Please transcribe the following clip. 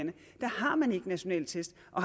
og